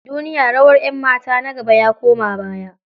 Duniya, rawar 'yanmata na gaba ya koma baya.